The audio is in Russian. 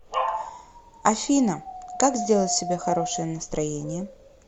афина как сделать себе хорошее настроение